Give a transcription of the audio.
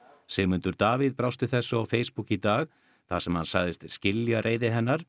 Sigmundur Davíð brást við þessu á Facebook í dag þar sem hann sagðist skilja reiði hennar